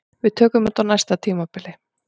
Við tökum þetta á næsta tímabili